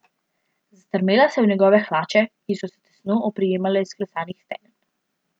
Zastrmela se je v njegove hlače, ki so se tesno oprijemale izklesanih stegen.